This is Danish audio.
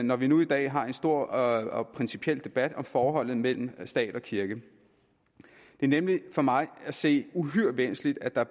når vi nu i dag har en stor og principiel debat om forholdet mellem stat og kirke det er nemlig for mig at se uhyre væsentligt at der